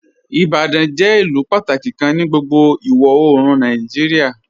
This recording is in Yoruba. "Ibadan jẹ ilù pátàkí kàn ní gbogbo iwọ-oorùn Nàìjíríà.